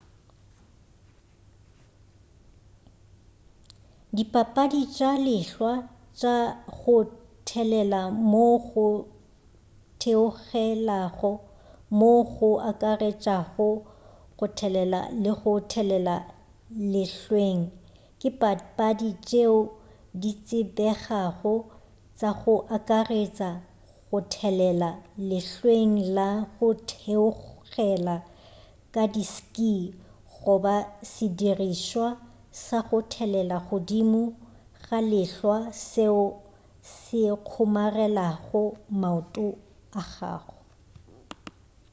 dipapadi tša lehlwa tša go thelela moo go theogelago moo go akaretšago go thelela le go thelela lehlweng ke dipapadi tšeo ditsebegago tša go akaretša go thelela lehlweng la go theogela ka di-ski goba sedirišwa sa go thelela godimo ga lehlwa seo se kgomarelago maoto a gago